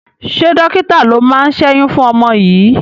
Ṣé dọ́kítà ló máa ṣẹ́yún fún ọmọ yìí?